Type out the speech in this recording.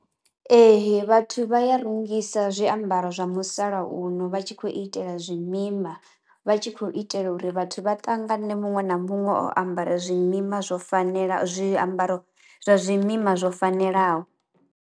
Ee vhathu vha ya rungisa zwiambaro zwa musalauno vha tshi khou itela zwi mima, vha tshi khou itela uri vhathu vha ṱangane muṅwe na muṅwe o ambara zwi mima zwo fanela zwiambaro zwa zwi mima zwo fanelaho.